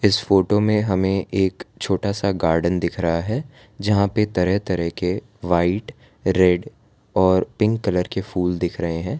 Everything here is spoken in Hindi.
इस फोटो में हमें एक छोटा सा गार्डन दिख रहा है जहां पे तरह तरह के व्हाइट रेड और पिंक कलर के फूल दिख रहे हैं।